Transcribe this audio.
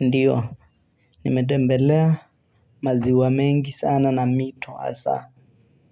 Ndio, nimetembelea maziwa mengi sana na mito, hasa